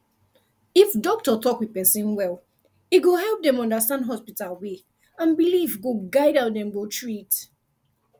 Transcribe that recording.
if doctor talk with person well e go help dem understand hospital way and belief go guide how dem go treat